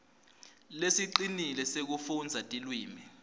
lesicinile sekufundza tilwimi